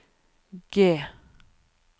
G